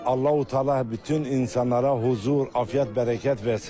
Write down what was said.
Allah Təala bütün insanlara huzur, afiyət, bərəkət versin.